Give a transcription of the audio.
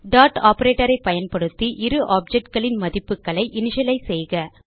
dot operatorஐ பயன்படுத்தி இரு ஆப்ஜெக்ட் களின் மதிப்புகளை இனிஷியலைஸ் செய்க